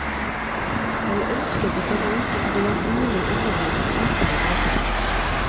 Jeg ønsket å finne ut om det var mulig å underholde uten å drepe noen.